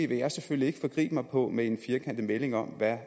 vil jeg selvfølgelig ikke forgribe mig på med en firkantet melding om hvad